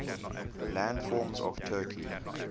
landforms of turkey